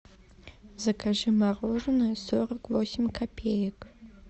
закажи мороженое сорок восемь копеек